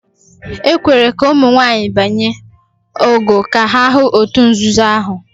"E kwere ka ụmụ nwanyị banye ""ogo" ka ha hụ òtù nzuzo ahụ?